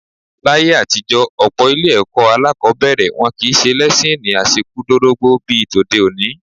Láyé àtijọ́ ní ọ̀pọ̀ ilé-ẹ̀kọ́ alákọ̀ọ́bẹ̀rẹ̀, wọn kì í ṣe lẹ́síìnì àṣekúdorógbó bí tòde òní.